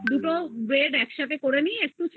তারপরে দুটো bread একসাথে করে নিয়ে একটু চেপে